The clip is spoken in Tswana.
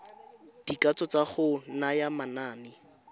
dikatso tsa go naya manane